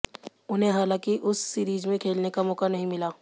उन्हें हालांकि उस सीरीज में खेलने का मौका नहीं मिला